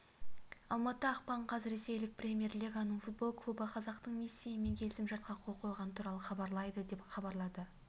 алматы ақпан қаз ресейлік премьер-лиганың футбол клубы қазақтың мессиімен келісім-шартқа қол қойғаны туралы хабарлады деп хабарлады